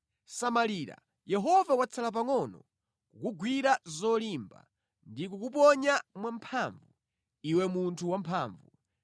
“Samalira, Yehova watsala pangʼono kukugwira zolimba ndi kukuponya mwamphamvu, iwe munthu wamphamvu.